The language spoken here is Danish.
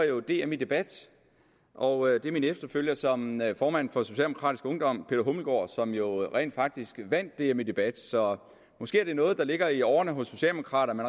jo var dm i debat og det var min efterfølger som formand for socialdemokratisk ungdom peter hummelgaard som jo rent faktisk vandt dm i debat så måske er det noget der ligger i årerne hos socialdemokraterne